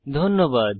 ধন্যবাদ